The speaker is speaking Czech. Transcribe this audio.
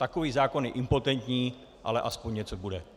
Takový zákon je impotentní, ale aspoň něco bude.